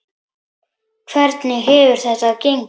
Hvernig hefur þetta gengið?